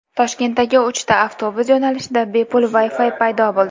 Toshkentdagi uchta avtobus yo‘nalishida bepul Wi-Fi paydo bo‘ldi.